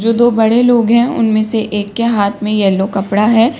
जो दो बड़े लोग हैं उनमें से एक के हाथ में येलो कपड़ा है।